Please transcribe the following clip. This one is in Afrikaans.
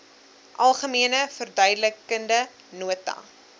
algemene verduidelikende nota